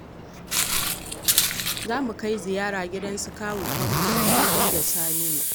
Za mu kai ziyara gidan su kawu Tanko da Mudi da Saminu.